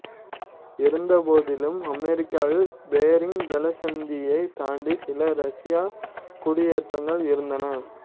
இருந்தபோதிலும் அமெரிக்காவில் பெர்ரிங் ஜலசந்தியைத் தாண்டி சில ரஷ்ய குடியேற்றங்கள் இருந்தன